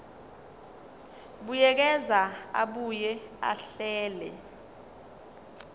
buyekeza abuye ahlele